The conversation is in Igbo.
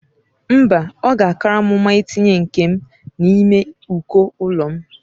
Mba, ọ ga-akara m mma itinye nke m n'ime uko ụlọ.